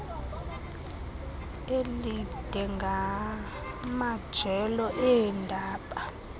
elide ngamajelo eendaba